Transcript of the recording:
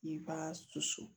I b'a susu